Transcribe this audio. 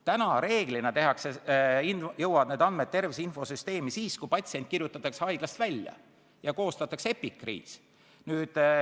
Täna jõuavad need andmed tervise infosüsteemi reeglina siis, kui patsient kirjutatakse haiglast välja ja koostatakse epikriis.